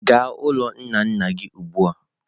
Gaa n'ụlọ nna nna gị ugbu a!.